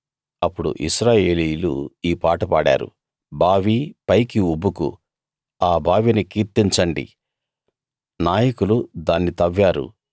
అప్పుడు ఇశ్రాయేలీయులు ఈ పాట పాడారు బావీ పైకి ఉబుకు ఆ బావిని కీర్తించండి నాయకులు దాన్ని తవ్వారు